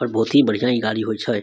पर बहुत ही बढ़िया इ गाड़ी होय छै --